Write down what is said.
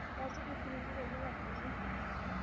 ਬਸ ਕੁਛ ਨੀ ਜੀ ਵੇਹਲ਼ੇ ਬੈਠੇ ਸੀ